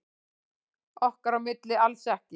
Okkar á milli alls ekki.